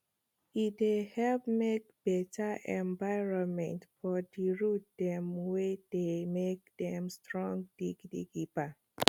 e dey help make better environmentfor di root dem wey dey make dem strong gidigba